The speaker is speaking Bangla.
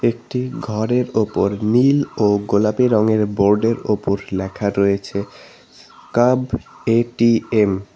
একটি ঘরের ওপর নীল ও গোলাপী রঙের বোর্ড এর ওপর লেখা রয়েছে কাব এ_টি_এম ।